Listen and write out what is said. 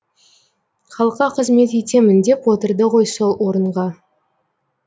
халыққа қызмет етемін деп отырды ғой сол орынға